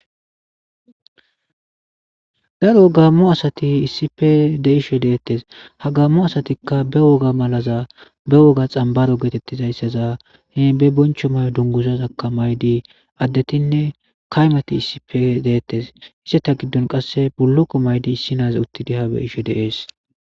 Daro gaammo asathi issippe de7ishe deeththes;ha gaammo asathikka be woga malaza ba woga xambbaaro geetheththizayssaza be bonchcho mayoza dunguzazakka mayidi addethinne kaymathi issippe deeththes; izatha giddon qassi bullukko mayidi issinazi uththidi diyaagaa be7ishe de7ees.